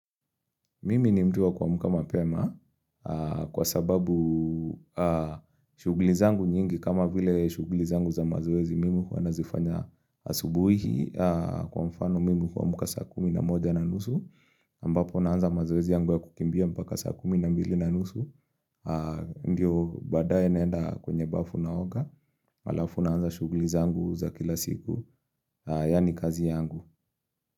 Mimi ni mduwa kwamuka mapema kwa sababu shugli zangu nyingi kama vile shugli zangu za mazoezi mimi kuwa nazifanya asubuhi kwa mfano mimi kwa muka sakumi na moja na nusu ambapo naanza mazoezi yangu ya kukimbia mpaka sakumi na mbili na nusu ndiyo badaye nenda kwenye bafu na oga malafu naanza shugli zangu za kila siku yani kazi yangu.